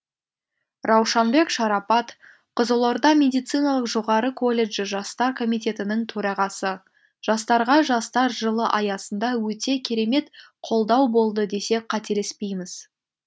раушанбек шарапат қызылорда медициналық жоғары колледжі жастар комитетінің төрағасы жастарға жастар жылы аясында өте керемет қолдау болды десек қателеспейміз